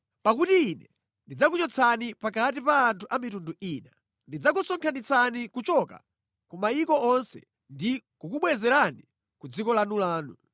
“Pakuti Ine ndidzakuchotsani pakati pa anthu a mitundu ina. Ndidzakusonkhanitsani kuchoka ku mayiko onse ndi kukubwezerani ku dziko lanulanu.